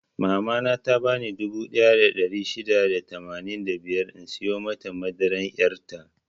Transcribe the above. Mama na ta bani dubu ɗaya da ɗari shida da tamanin da biyar in siyo mata madaran yar' ta.